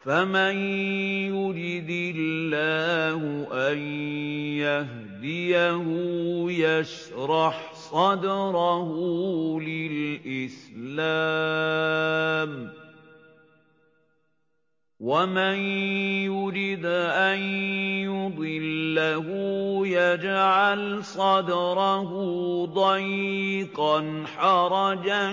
فَمَن يُرِدِ اللَّهُ أَن يَهْدِيَهُ يَشْرَحْ صَدْرَهُ لِلْإِسْلَامِ ۖ وَمَن يُرِدْ أَن يُضِلَّهُ يَجْعَلْ صَدْرَهُ ضَيِّقًا حَرَجًا